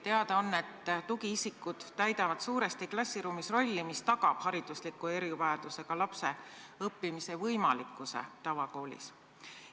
Teada on, et tugiisikud täidavad klassiruumis suuresti rolli, mis tagab haridusliku erivajadusega lapse õppimise võimalikkuse tavakoolis.